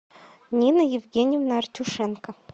нина евгеньевна артюшенко